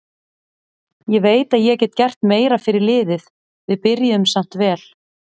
Ég veit að ég get gert meira fyrir liðið, við byrjuðum samt vel.